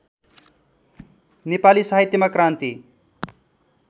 नेपाली साहित्यमा क्रान्ति